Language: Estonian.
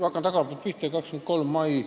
Hakkan tagantpoolt pihta: miks 23. mai.